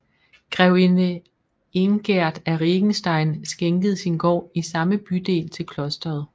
Grevinde Ingerd af Regenstein skænkede sin gård i samme bydel til klosteret